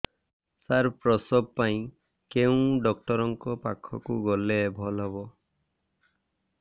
ସାର ପ୍ରସବ ପାଇଁ କେଉଁ ଡକ୍ଟର ଙ୍କ ପାଖକୁ ଗଲେ ଭଲ ହେବ